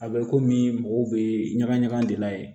A bɛ komi mɔgɔw bɛ ɲaga ɲaga de la yen